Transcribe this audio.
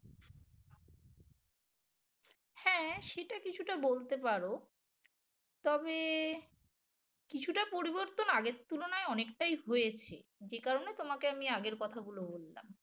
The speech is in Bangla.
সেটা কিছুটা বলতে পারো তবে কিছুটা পরিবর্তন আগের তুলনায় অনেকটাই হয়েছে যে কারণে তোমাকে আমি আগের কথাগুলো বললাম